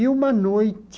E uma noite,